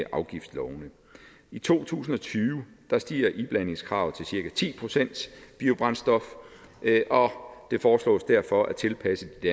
i afgiftslovene i to tusind og tyve stiger iblandingskravet til cirka ti procent biobrændstof og det foreslås derfor at tilpasse de